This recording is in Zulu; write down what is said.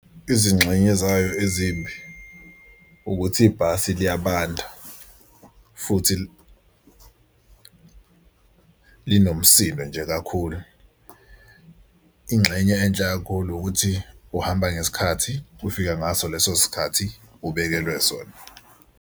Izingxenye ezayo ezimbi ukuthi ibhasi liyabanda futhi linomsindo nje kakhulu. Ingxenye enhle kakhulu ukuthi uhamba ngesikhathi ufika ngaso leso sikhathi ubekelwe sona.